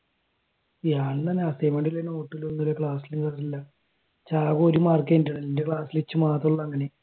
ഞാനും അങ്ങനെ തന്നെ അസ്സിഗ്ന്മെന്റും ഇല്ല നോട്ടും ഒന്നുല്ല ക്ലാസ്സിലും കേറാലില്ല ഇജ്ജ് ആകെ ഒരു മാർക്കെ ഉള്ളു എന്റെ ക്ലാസ്സിൽ ഇജ്ജ് മാത്രേ ഉള്ളു അങ്ങനെ